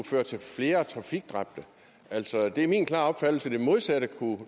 føre til flere trafikdræbte det er min klare opfattelse at det modsatte